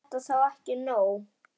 Er þetta þá ekki nóg?